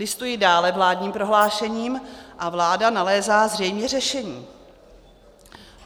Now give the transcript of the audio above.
Listuji dále vládním prohlášením - a vláda nalézá zřejmě řešení.